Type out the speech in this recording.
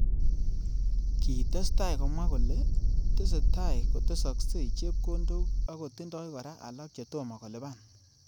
Kitestai komwa kole tesetai kotesaksei chepkondok akotindoi kora alak chetomo kolipan.